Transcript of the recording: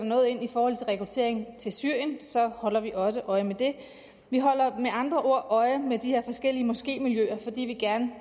noget ind i forhold til rekruttering til syrien og så holder vi også øje med det vi holder med andre ord øje med de her forskellige moskémiljøer fordi vi gerne